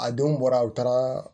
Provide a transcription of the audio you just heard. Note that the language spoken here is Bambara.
A donw bɔra u taara